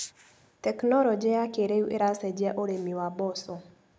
Teknologĩ ya kĩrĩũ ĩracenjia ũrĩmi wa mboco.